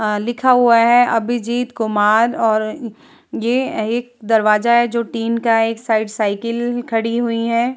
अ लिखा हुआ है अभिजीत कुमार और ये एक दरवाजा है जो टीन का है। एक साइड साइकिल खड़ी हुई हैं ।